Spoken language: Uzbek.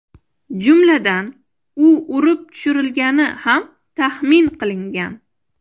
Jumladan, u urib tushirilgani ham taxmin qilingan.